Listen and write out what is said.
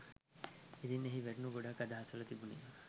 ඉතින් එහි වැටුණු ගොඩක් අදහස් වල තිබුනේ